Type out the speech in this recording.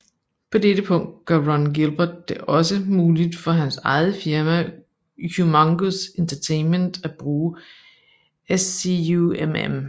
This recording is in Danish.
På dette punkt gør Ron Gilbert det også muligt for hans eget firma Humongous Entertainment at bruge SCUMM